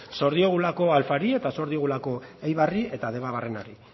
zor diogulako alfari eta zor diogulako eibarri eta debabarrenari